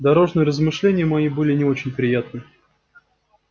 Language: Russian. дорожные размышления мои были не очень приятны